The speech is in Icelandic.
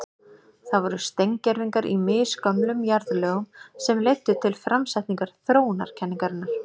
Það voru steingervingar í misgömlum jarðlögum sem leiddu til framsetningar þróunarkenningarinnar.